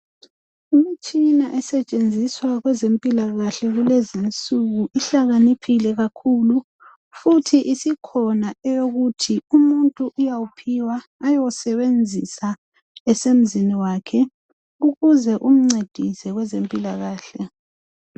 imtshina estshenziswa kwezempilakahle kulezinsuku ihlakaniphile kakhulu futhi isikhona eyokuthi umuntu uyawuphiwa ayowusebenzisa esmzini wakhe ukuze umcedise kwezempilakahle